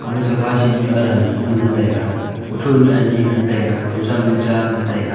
ga sofa seat nyu aram nyu ngan taiga kutho nyu ani ngan taiga kujang nyu cha ngan taiga.